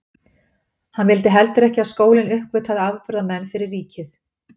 Hann vildi heldur ekki að skólinn uppgötvaði afburðamenn fyrir ríkið.